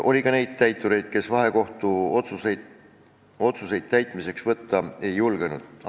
Oli ka neid täitureid, kes vahekohtuotsuseid täitmiseks võtta ei julgenud.